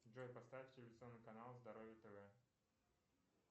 джой поставь телевизионный канал здоровье тв